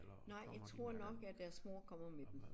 Nej jeg tror nok at deres mor kommer med dem